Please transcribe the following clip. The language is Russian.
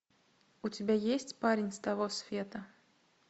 у тебя есть парень с того света